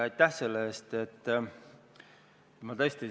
Aitäh selle eest!